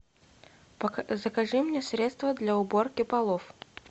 закажи мне средство для уборки полов